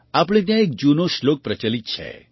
આપણે ત્યાં એક જૂનો શ્લોક પ્રચલિત છે